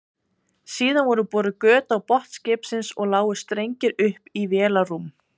Síðan voru boruð göt á botn skipsins og lágu strengir upp í vélarrúm.